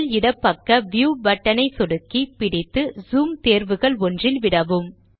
மேல் இட பக்க வியூ பட்டன் ஐ சொடுக்கிப்பிடித்து ஜூம் தேர்வுகள் ஒன்றில் விடவும்